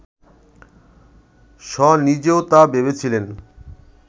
শ নিজেও তা ভেবেছিলেন